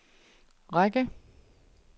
række